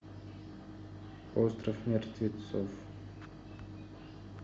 остров мертвецов